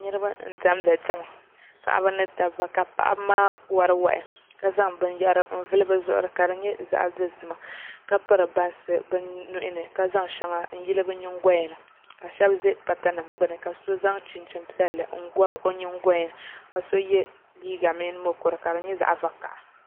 Niraba n diɛmdi diɛma paɣaba ni dabba ka paɣaba maa wori wahi ka zaŋ binyɛra n vuli bi zuɣuri ka di nyɛ zaɣ dozima ka piri bansi bi nuhi ni ka zaŋ shɛŋa n yili bi nyingoya ni ka shab ʒɛ pata nim gbuni ka so zaŋ chinchin piɛlli n gɔbi o nyingoya ka so yɛ liiga mini mokuru ka di nyɛ zaɣ vakaɣa